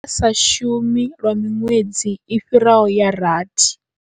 Sa shumi lwa miṅwedzi i fhiraho ya rathi.